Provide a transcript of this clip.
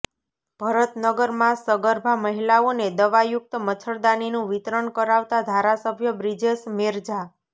ભરતનગરમાં સગર્ભા મહિલાઓને દવાયુક્ત મચ્છરદાનીનું વિતરણ કરાવતા ધારાસભ્ય બ્રિજેશ મેરજા